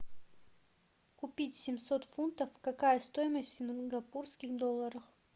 купить семьсот фунтов какая стоимость в сингапурских долларах